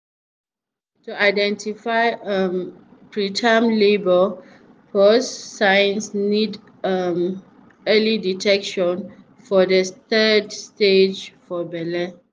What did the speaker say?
to dey identify um preterm labour pause signs need um early detection for de third stage for belle